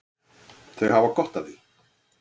Þau hafa gott af því.